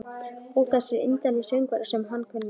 Ó þessir indælu söngvar sem hann kunni.